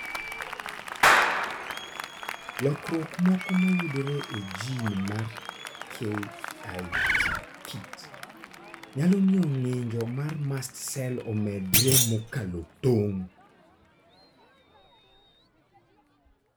Lokruok moko mayudore e gene mar KIT nyalo miyo ng'injo mar mast cell omedre mokalo tong'.